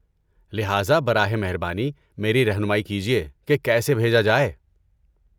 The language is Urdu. لہٰذا، براہ مہربانی میری رہنمائی کیجئے کہ کیسے بھیجا جائے؟